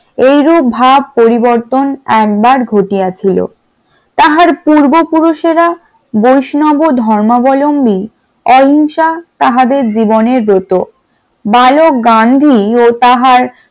এরূপ ভাব পরিবর্তন একবার ঘটিয়া ছিল, তাহার পূর্বপুরুষেরা বৈষ্ণব ধর্মাবলম্বী অহিংসা তাহাদের জীবনের ব্রত বালক গান্ধী ও তাহার